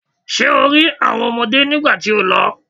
Ṣé o rí àwọn ọmọdé nígbà tí o lọ?